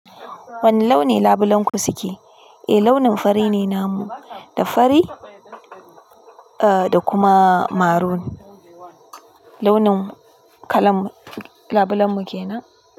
Wane launi labulenku suke? Eh launin fari ne namu, da fari eh da kuma maroon launin kalan labulenmu kenan.